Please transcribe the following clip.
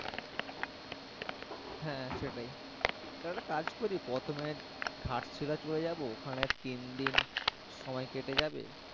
হ্যাঁ সেটাই তাহলে একটা কাজ করি প্রথমে ঘাট শিলা চলে যাবো ওখানে তিনদিন সময় কেটে যাবে।